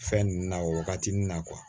Fɛn ninnu na o waagatinin na